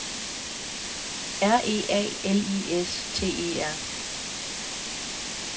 R E A L I S T E R